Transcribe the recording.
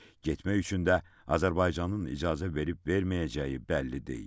Getmək üçün də Azərbaycanın icazə verib-verməyəcəyi bəlli deyil.